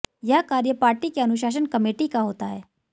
यह कार्य पार्टी की अनुशासन कमेटी का होता है